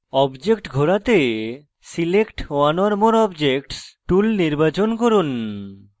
object ঘোরাতে select one or more objects tool নির্বাচন করুন